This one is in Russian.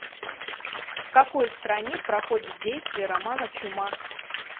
в какой стране проходит действие романа чума